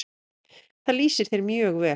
Það lýsir þér mjög vel.